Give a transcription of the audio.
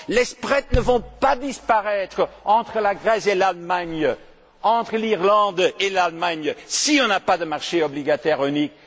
Les écarts ne vont pas disparaître entre la Grèce et l'Allemagne, entre l'Irlande et l'Allemagne si on n'a pas de marché obligataire unique.